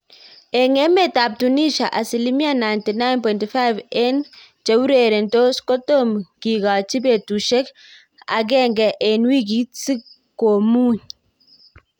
Eng emet ap Tunisia asilimia 99.5 eng cheureretos kotam kigachin petushek agenge eng wikit si komung